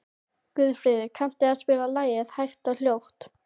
Guðfríður, kanntu að spila lagið „Hægt og hljótt“?